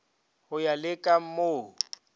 go ya le ka moo